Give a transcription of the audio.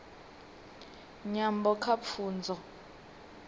nyambo kha pfunzo